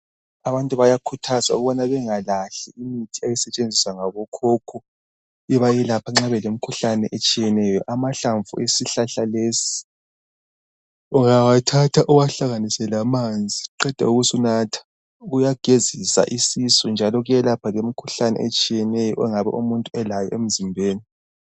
Abantu bayakhuthazwa ukubana bengalahli imithi eyayisetshenziswa ngabokhokho bebayelapha nxa belemkhuhlane etshiyeneyo, amahlamvu esihlahla lesi ungawathatha uwahlanganise lamanzi qede usunatha kuyagezisa isisu njalo kuyelapha lemikhuhlane etshiyeneyo ongabe umuntu elayo emzimbeni.